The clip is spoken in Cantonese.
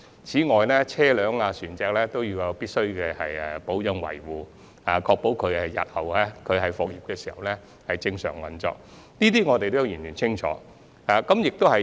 此外，車輛和船隻也必須進行保養維護，以確保日後復業時可以正常運作，對此我們也相當清楚。